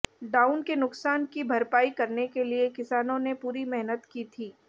down के नुकसान की भरपायी करने के लिए किसानों ने पूरी मेहनत की थी